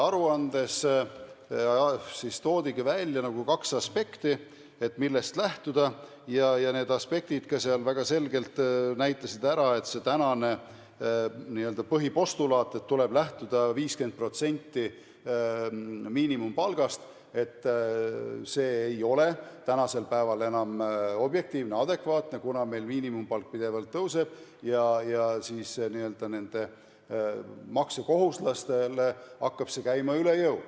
Selles toodigi kaks aspekti, millest lähtuda, ja need aspektid näitasid väga selgelt ära, et see praegune n-ö põhipostulaat, et tuleb lähtuda 50% miinimumpalgast, ei ole tänapäeval enam objektiivne ega adekvaatne, kuivõrd meil miinimumpalk pidevalt tõuseb ja nendele maksekohustuslastele hakkab see käima üle jõu.